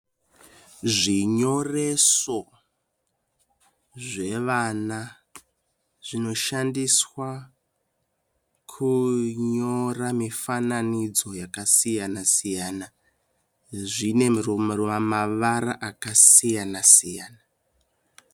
Zvinyoreso zvevana zvinoshandiswa kunyora mifananidzo yakasiyana siyana. Zvine mavara akasiyana siyana.